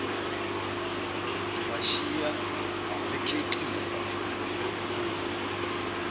ngibashiya bekhexile ngiyophuma